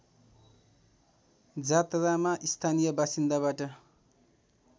जात्रामा स्थानीय बासिन्दाबाट